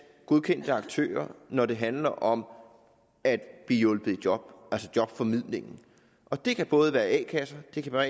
godkendte aktører når det handler om at blive hjulpet i job altså jobformidlingen og det kan både være a kasser det kan være